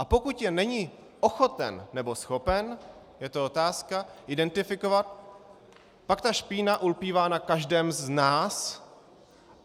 A pokud je není ochoten - nebo schopen, je to otázka - identifikovat, pak ta špína ulpívá na každém z nás.